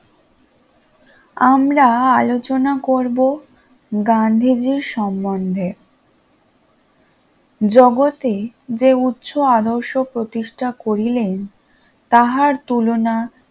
আমরা আলোচনা করবো গান্ধীজির সম্বন্ধে জগতে যে উচ্চ আদর্শ প্রতিষ্ঠা করিলেন তাহার তুলনা